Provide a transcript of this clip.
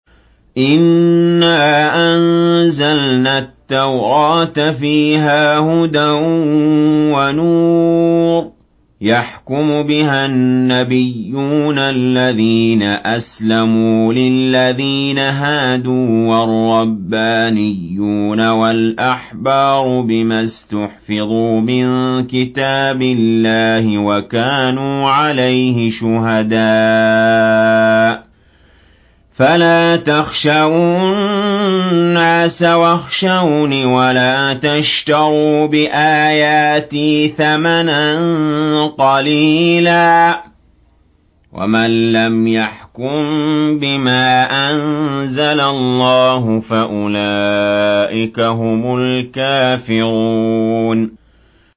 إِنَّا أَنزَلْنَا التَّوْرَاةَ فِيهَا هُدًى وَنُورٌ ۚ يَحْكُمُ بِهَا النَّبِيُّونَ الَّذِينَ أَسْلَمُوا لِلَّذِينَ هَادُوا وَالرَّبَّانِيُّونَ وَالْأَحْبَارُ بِمَا اسْتُحْفِظُوا مِن كِتَابِ اللَّهِ وَكَانُوا عَلَيْهِ شُهَدَاءَ ۚ فَلَا تَخْشَوُا النَّاسَ وَاخْشَوْنِ وَلَا تَشْتَرُوا بِآيَاتِي ثَمَنًا قَلِيلًا ۚ وَمَن لَّمْ يَحْكُم بِمَا أَنزَلَ اللَّهُ فَأُولَٰئِكَ هُمُ الْكَافِرُونَ